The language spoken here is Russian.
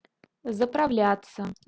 заправляться